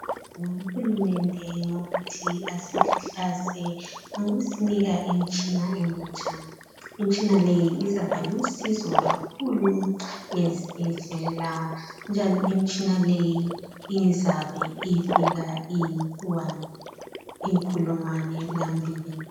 ngibonga ukhlumende ngokuba asihlanzengokusinika imitshina emitsha imitshina le izaba lusizo kakhulu ngezindlela njalo imitshina le izabe ifika iyikhulungwane lambili